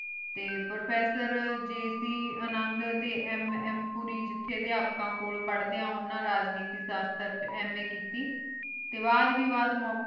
T professor ਜੀ ਸੇ ਅੰਨਾਦ ਟੀ MM ਪੂਰੀ ਜਿਥਯ ਦੇ ਅਪਾ ਪਰ੍ਹਾਡੇ ਓਹਨਾ ਰਾਜ੍ਨੇਤੀ ਸ਼ਾਸ੍ਟਰ ਵਿਚ MA ਕੀਤੀ ਟੀ ਬਾਦ ਮੋਕ਼ੀ